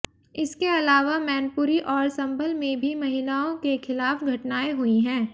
इसके अलावा मैनपुरी और संभल में भी महिलाओं के खिलाफ घटनाएं हुई हैं